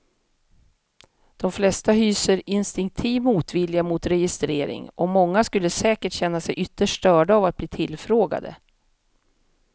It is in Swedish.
De flesta hyser instinktiv motvilja mot registrering och många skulle säkert känna sig ytterst störda av att bli tillfrågade.